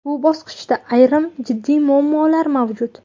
Bu bosqichda ayrim jiddiy muammolar mavjud.